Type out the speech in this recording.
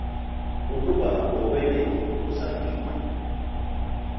ukuba ngokwenene usaphila